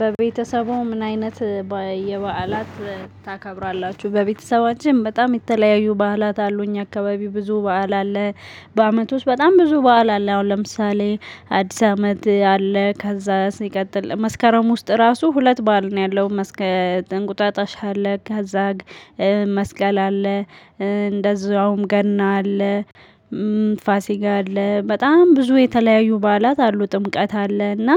በቤተሰቡ ምን አይነት የበዓላት ታከብራላችሁ? በቤተሰባችን በጣም የተለያዩ በዓላት አሉ። እኛ አካባቢው ብዙ በዓል አለ። በአመቱ ውስጥ በጣም ብዙ በዓል አለ። አሁን ለምሳሌ አዲስ አመት አለ፣ ከዛ ሲቀጥል መስከረም ውስጥ ራሱ ሁለት ባል ነው ያለው። እንቁጣጣ አለ፣ ካዛ መስቀል አለ፣ እንደዛውም ገና አለ፣ ፋሲጋ አለ። በጣም ብዙ የተለያዩ በዓላት አሉ። ጥምቀት አለ እና